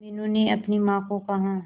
मीनू ने अपनी मां को कहा